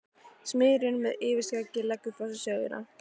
Smiðurinn með yfirskeggið leggur frá sér sögina.